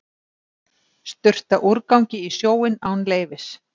Sturta úrgangi í sjóinn án leyfis